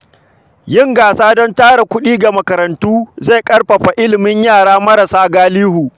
Yin gasa don tara kuɗi ga makarantu zai ƙarfafa ilimin yara marasa galihu.